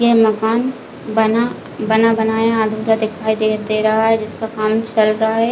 ये मकान बना बना बनाया अधूरा दिखाई दे दे रहा है जिसका काम चल रहा है।